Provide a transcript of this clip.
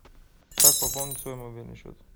как пополнить свой мобильный счет